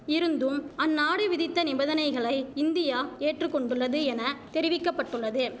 இருந்தும் அந்நாடு விதித்த நிபந்தனைகளை இந்தியா ஏற்றுக்கொண்டுள்ளது என தெரிவிக்க பட்டுள்ளது